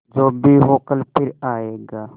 जो भी हो कल फिर आएगा